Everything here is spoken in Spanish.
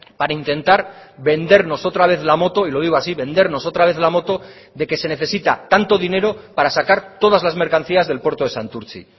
para intentar vendernos otra vez la moto y lo digo así vendernos otra vez la moto de que se necesita tanto dinero para sacar todas las mercancías del puerto de santurtzi